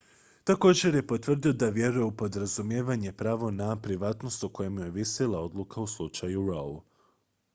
također je potvrdio da vjeruje u podrazumijevano pravo na privatnost o kojem je ovisila odluka u slučaju roe